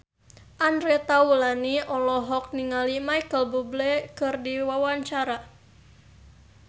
Andre Taulany olohok ningali Micheal Bubble keur diwawancara